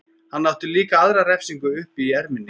Hann átti líka aðra refsingu uppi í erminni.